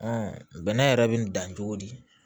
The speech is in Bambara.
bɛnɛ yɛrɛ bɛ nin dan cogo di